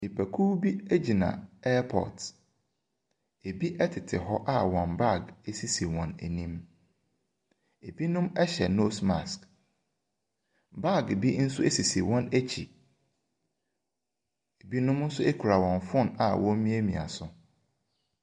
Nipakow bi egyina ɛpɔɔt, ebi ɛtete hɔ a wɔn baage esisi wɔn anim . Ɛbinom ɛhyɛ nos mask . Baage bi nso esisi wɔn akyi, ebinom nso ɛkra wɔn fon a wɔn emia mia so.